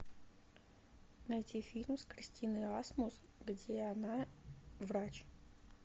найти фильм с кристиной асмус где она врач